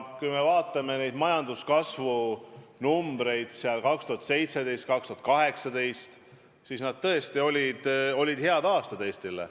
Kui me vaatame majanduskasvu numbreid aastatel 2017 ja 2018, siis näeme, et need tõesti olid Eestrile head aastad.